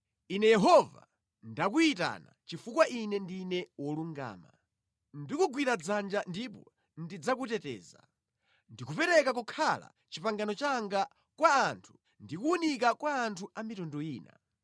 “Ine Yehova, ndakuyitana chifukwa Ine ndine wolungama; ndikugwira dzanja ndipo ndidzakuteteza. Ndakupereka kukhala pangano langa kwa anthu ndi kuwunika kwa anthu a mitundu ina.